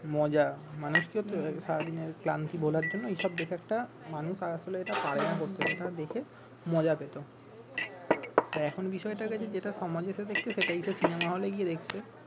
মজা মানুষকে তো সারাদিনের ক্লান্তি ভোলার জন্য এসব মানুষ আর আসলে এটা পারে না করতে এটা দেখে মজা পেত আর এখন বিষয় টা হয়ে গেছে যেটা সমাজের সাথে একটু সেটাই সে সিনেমা হলে গিয়ে দেখছে